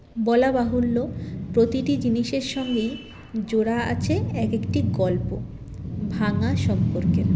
বলা বাহুল্য প্রতিটি জিনিসের সঙ্গেই জোড়া আছে একএকটি গল্প ভাঙা সম্পর্কের